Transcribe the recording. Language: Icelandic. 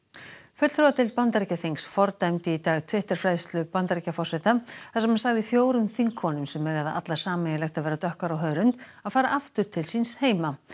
fulltrúadeild Bandaríkjaþings fordæmdi í dag Twitter færslu Bandaríkjaforseta þar sem hann sagði fjórum þingkonum sem eiga það allar sameiginlegt að vera dökkar á hörund að fara aftur til síns heima